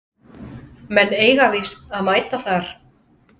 Menn eiga víst að mæta þar